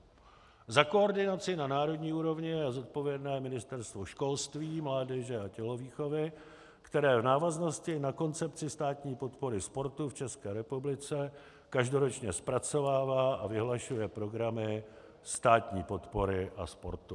Za koordinaci na národní úrovni je zodpovědné Ministerstvo školství, mládeže a tělovýchovy, které v návaznosti na koncepci státní podpory sportu v České republice každoročně zpracovává a vyhlašuje programy státní podpory a sportu.